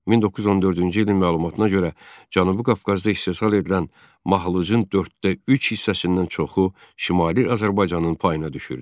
1914-cü ilin məlumatına görə, Cənubi Qafqazda istehsal edilən mahlucun dörddə üç hissəsindən çoxu Şimali Azərbaycanın payına düşürdü.